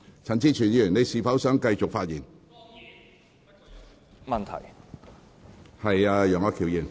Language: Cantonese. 陳志全議員，你是否想繼續發言？